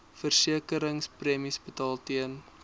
versekeringspremies betaal ten